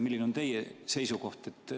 Milline on teie seisukoht?